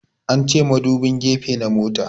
An ce madubin gefe na motan